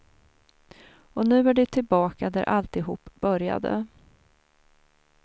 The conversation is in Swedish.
Och nu är de tillbaka där alltihop började.